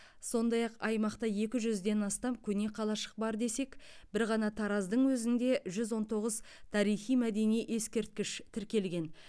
сондай ақ аймақта екі жүзден астам көне қалашық бар десек бір ғана тараздың өзінде жүз он тоғыз тарихи мәдени ескерткіш тіркелген